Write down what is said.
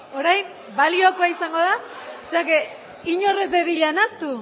orain baliokoa izango da inor ez dadila nahastu